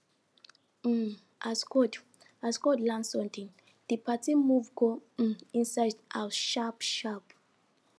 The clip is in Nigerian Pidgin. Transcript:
um as cold as cold land sudden di party move go um inside house sharp sharp